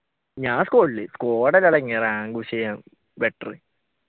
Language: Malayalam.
ഞാൻ സ്‌ക്വാഡിൽ better